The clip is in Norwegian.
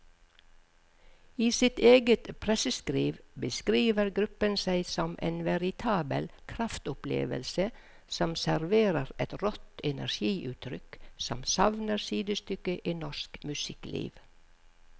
I sitt eget presseskriv beskriver gruppen seg som en veritabel kraftopplevelse som serverer et rått energiutrykk som savner sidestykke i norsk musikkliv.